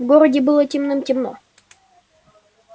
в городе было темным-темно